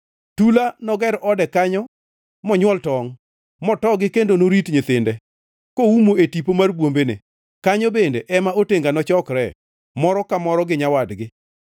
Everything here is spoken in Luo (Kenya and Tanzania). Tula noger ode kanyo monywol tongʼ, motogi kendo norit nyithinde, koumo e tipo mar bwombene; kanyo bende ema otenga nochokre, moro ka moro gi nyawadgi.